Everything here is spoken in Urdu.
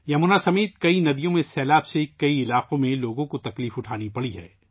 یمنا سمیت کئی دریاؤں میں سیلاب کی وجہ سے کئی علاقوں کے لوگوں کو پریشانی کا سامنا کرنا پڑا ہے